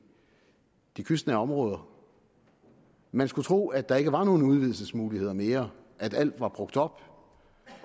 de kystnære områder man skulle tro at der ikke var nogen udvidelsesmuligheder mere at alt var brugt op